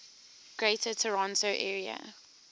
greater toronto area